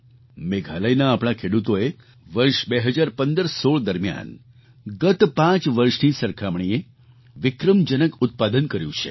મેઘાલયના આપણા ખેડૂતોએ વર્ષ 201516 દરમિયાન ગત પાંચ વર્ષની સરખામણીએ વિક્રમજનક ઉત્પાદન કર્યું છે